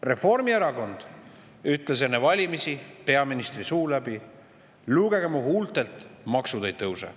Reformierakond ütles enne valimisi peaministri suu läbi: "Lugege mu huultelt: maksud ei tõuse.